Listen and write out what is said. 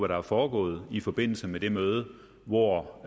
der er foregået i forbindelse med det møde hvor